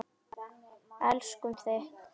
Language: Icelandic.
Elskum þig.